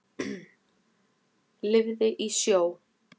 Lifði í sjó.